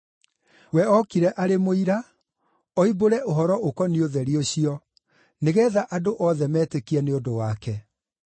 We okire arĩ mũira oimbũre ũhoro ũkoniĩ ũtheri ũcio, nĩgeetha andũ othe metĩkie nĩ ũndũ wake.